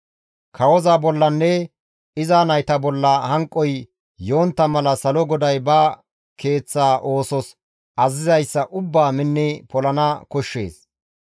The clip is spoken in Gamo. Kawoza bollanne iza nayta bolla hanqoy yontta mala Salo GODAY ba keeththa oosos azazizayssa ubbaa minni polana koshshees.